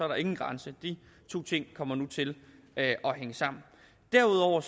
der ingen grænse de to ting kommer nu til at hænge sammen derudover